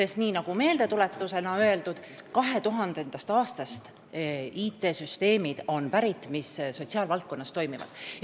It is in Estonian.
Tuletan meelde, et sotsiaalvaldkonnas kasutatavad IT-süsteemid on pärit 2000. aastast.